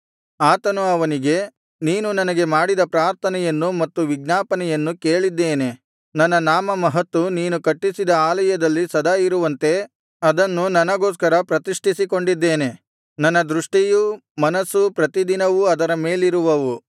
ಆತನು ಅವನಿಗೆ ನೀನು ನನಗೆ ಮಾಡಿದ ಪ್ರಾರ್ಥನೆಯನ್ನೂ ಮತ್ತು ವಿಜ್ಞಾಪನೆಯನ್ನೂ ಕೇಳಿದ್ದೇನೆ ನನ್ನ ನಾಮಮಹತ್ತು ನೀನು ಕಟ್ಟಿಸಿದ ಆಲಯದಲ್ಲಿ ಸದಾ ಇರುವಂತೆ ಅದನ್ನು ನನಗೋಸ್ಕರ ಪ್ರತಿಷ್ಠಿಸಿಕೊಂಡಿದ್ದೇನೆ ನನ್ನ ದೃಷ್ಟಿಯೂ ಮನಸ್ಸೂ ಪ್ರತಿದಿನವೂ ಅದರ ಮೇಲಿರುವವು